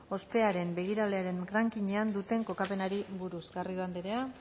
ospearen begiralearen ranking ean duten kokapenari buruz garrido anderea